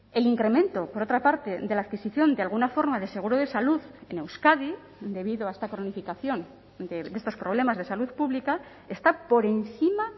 el incremento por otra parte de la adquisición de alguna forma de seguro de salud en euskadi debido a esta cronificación de estos problemas de salud pública está por encima